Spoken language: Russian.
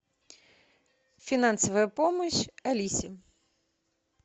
финансовая помощь алисе